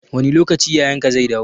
Wani lokaci yayan ka zai dawo?